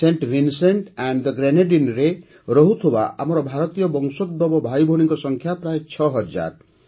scent Vincent and the ଗ୍ରେନାଡ଼ିନରେ ରହୁଥିବା ଆମର ଭାରତୀୟ ବଂଶୋଦ୍ଭବ ଭାଇଭଉଣୀଙ୍କ ସଂଖ୍ୟା ପ୍ରାୟ ଛଅ ହଜାର